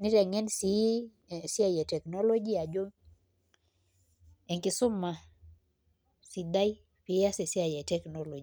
niteng'en sii esiai e teknology ajo enkisuma sidai pee iaas esiai e teknology.